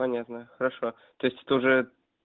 понятно хорошо то есть это уже